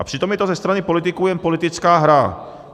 A přitom je to ze strany politiků jen politická hra.